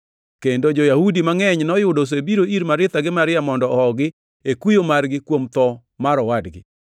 kendo jo-Yahudi mangʼeny noyudo osebiro ir Maritha gi Maria mondo ohogi e kuyo margi kuom tho mar owadgi.